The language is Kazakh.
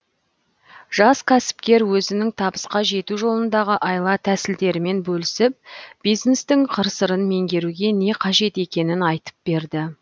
жас кәсіпкер өзінің табысқа жету жолындағы айла тәсілдерімен бөлісіп бизнестің қыр сырын меңгеруге не қажет екенін айтып берді